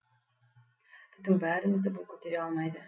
біздің бәрімізді бұл көтере алмайды